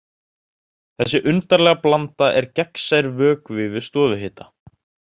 Þessi undarlega blanda er gegnsær vökvi við stofuhita.